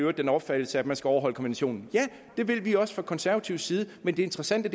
har den opfattelse at man skal overholde konventionen ja det vil vi også fra konservatives side men det interessante